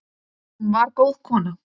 Hún var góð kona.